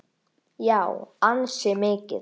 Já, ansi mikið.